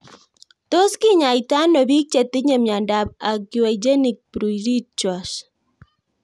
Tos kikenyaita ano pik che tinye miondop aquagenic pruritus